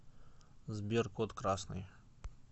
сбер код красный